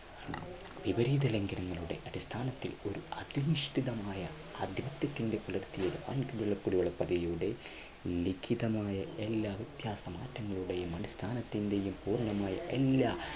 വിപരീത ലംഘനങ്ങളുടെ അടിസ്ഥാനത്തിൽ ഒരു അധിഷ്ഠിതമായ ജപ്പാൻ കുടിവെള്ള പദ്ധതിയുടെ ലിഖിതമായ എല്ലാ വ്യത്യാസമാധ്യമങ്ങളുടെയും അടിസ്ഥാനത്തിന്റെയും പൂർണമായ എല്ലാ